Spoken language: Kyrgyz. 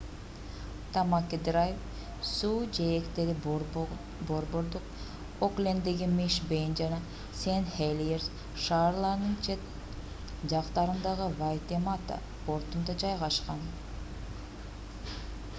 тамаки драйв суу жээктери борбордук окленддеги мишн бей жана сен хелиерс шаарларынын чет жактарындагы вайтемата портунда жайгашкан